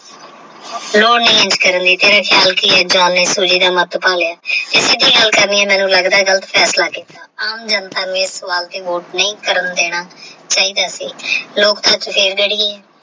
SOJI ਦਾ ਮਤ ਪਾਲਿਆ ਗਲਤ ਫੈਸਲਾ ਕੀਤਾ ਆਮ ਜਨਤਾ ਨੇ ਐਸ ਸਵਾਲ ਤੇ ਵੋਟ ਨਹੀਂ ਕਰਨ ਦੇਣਾ ਸੀ।